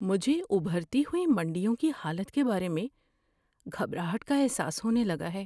مجھے ابھرتی ہوئی منڈیوں کی حالت کے بارے میں گھبراہٹ کا احساس ہونے لگا ہے۔